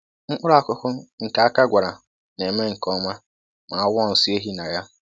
Mkpụrụ akụkụ nke aka gwara na-eme nke ọma ma a wụọ nsị ehi na ya